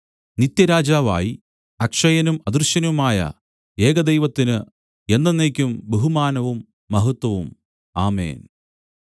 നിത്യരാജാവായി അക്ഷയനും അദൃശ്യനുമായ ഏകദൈവത്തിന് എന്നെന്നേക്കും ബഹുമാനവും മഹത്വവും ആമേൻ